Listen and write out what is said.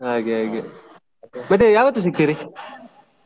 ಹಾಗೆ ಹಾಗೆ ಮತ್ತೆ ಯಾವತ್ತೂ ಸಿಕ್ತೀರಿ?